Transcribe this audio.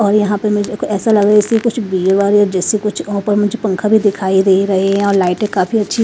और यहां पर मैं ऐसा लग रहा है जैसे कुछ भी जैसे कुछ ऊपर मुझे पंखा भी दिखाई दे रहे हैं और लाइटे काफी अच्छी।